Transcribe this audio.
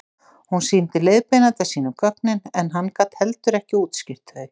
Hún sýndi leiðbeinanda sínum gögnin en hann gat heldur ekki útskýrt þau.